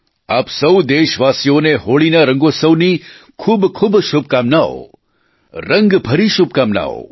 આપ સહુ દેશવાસીઓને હોળીના રંગોત્સવની ખૂબખૂબ શુભકામનાઓ રંગભરી શુભકામનાઓ